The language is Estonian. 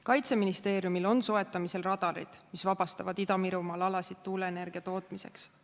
Kaitseministeeriumil on soetamisel radarid, mis vabastavad Ida-Virumaal alasid tuuleenergia tootmiseks.